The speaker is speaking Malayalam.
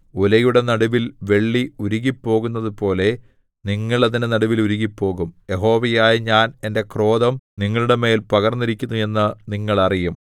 ഉലയുടെ നടുവിൽ വെള്ളി ഉരുകിപ്പോകുന്നതു പോലെ നിങ്ങൾ അതിന്റെ നടുവിൽ ഉരുകിപ്പോകും യഹോവയായ ഞാൻ എന്റെ ക്രോധം നിങ്ങളുടെമേൽ പകർന്നിരിക്കുന്നു എന്ന് നിങ്ങൾ അറിയും